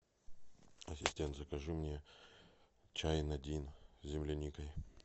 ассистент закажи мне чай надин с земляникой